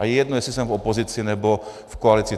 A je jedno, jestli jsem v opozici, nebo v koalici.